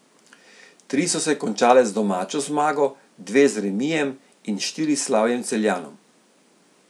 Tri so se končale z domačo zmago, dve z remijem in štiri s slavjem Celjanov.